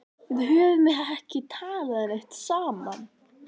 Við höfum ekki talað neitt saman.